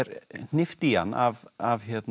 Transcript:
hnippt í hann af af